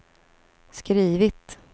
skrivit